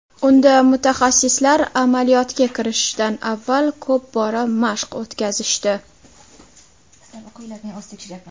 Unda mutaxassislar amaliyotga kirishishdan avval ko‘p bora mashq o‘tkazishdi.